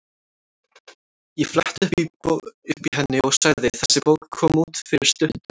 Ég fletti upp í henni og sagði: Þessi bók kom út fyrir stuttu.